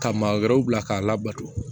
Ka maa wɛrɛw bila k'a labato